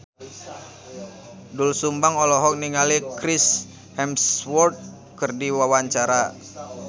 Doel Sumbang olohok ningali Chris Hemsworth keur diwawancara